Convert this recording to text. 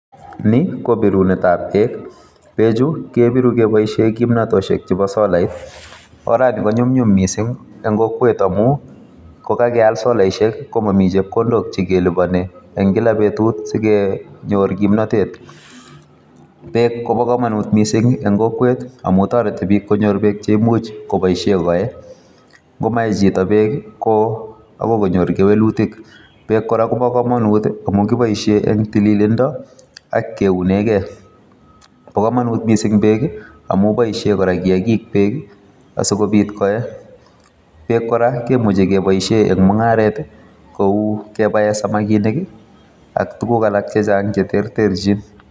Ni kobirunet ap peek. Peekchu, kebiru keboisie kimnatosiek chebo solait. Orani konyumnyum miising' eng' kokwet amu kokakeal solaishek komami chepkondok chekelipani eng' kila beetut sikenyoor kimnatet. Peek kobo komonut miising' eng' kokwet amu toreti biik konyor peek cheimuch koboisie koee. Ngomaee chito peek akoi konyoor kewelutik. peek kora kobo komonut amu kiboisie eng' tililindo ak keunegei . pa komonut miising' peek amu boisie kora kiagik peek asikobiit koee. Peek kora kemuchi keboisie eng' mung'aret kouu kebae samakinik ak tuguk alak chechang' cheterterchin